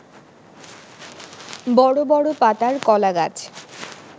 বড় বড় পাতার কলাগাছ